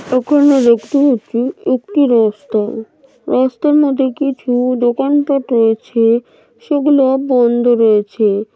ওখানে দেখতে পারছি একটি রাস্তা রাস্তার মধ্যে কিছু দোকানপাঠ রয়েছে সেগুলো বন্ধ রয়েছে ।